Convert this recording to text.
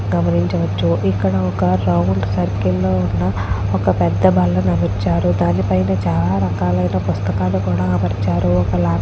గమనిచ వచ్చు ఇక్కడ round circle చేర్చలే గ ఉన రోడ్ పేద బాల ఉనది ఇక్కడ చాల పుస్తకాలు అమర్చారు. ఇక్కడ కూడా పుస్తకాలు కూడా అమర్చారు. దాని పైన --